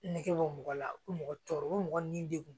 Nege bɔ mɔgɔ la u bɛ mɔgɔ tɔɔrɔ ko mɔgɔ ni degun